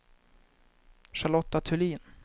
Charlotta Thulin